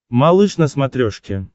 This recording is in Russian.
малыш на смотрешке